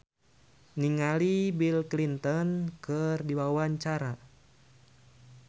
Itje Tresnawati olohok ningali Bill Clinton keur diwawancara